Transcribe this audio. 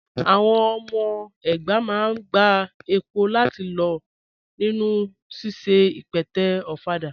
Àwọn ọmọ ẹgbá máa n gbà èpò láti lọ̀ nínu síṣẹ̀ ìpẹ̀tẹ̀ òfàdà.